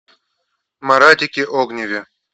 маратике огневе